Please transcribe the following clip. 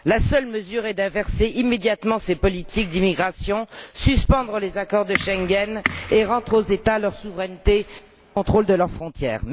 La seule mesure est d'inverser immédiatement ces politiques d'immigration, de suspendre les accords de Schengen et de rendre aux États leur souveraineté et le contrôle de leurs frontières.